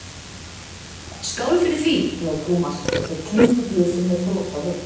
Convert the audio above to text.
Skál fyrir því! sagði Thomas og þeir klingdu glösum með bros á vör.